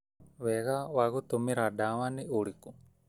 Wega wa gũtũmĩra ndawa nĩ ũrĩkũ?